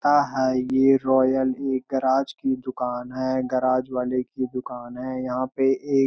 हाँ-हाँ ये रॉयल एक गराज की दुकान है गराज वाले की दुकान है यहाँ पे एक --